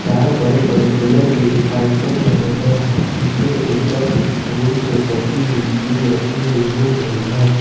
चार बड़े बड़े पिलर भी दिखाई पिल रहे हैं जिसके ऊपर कुछ फूल से सजी हुई चीज रखी हुई मिल रही है।